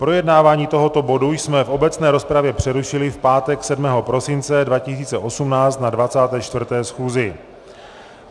Projednávání tohoto bodu jsme v obecné rozpravě přerušili v pátek 7. prosince 2018 na 24. schůzi.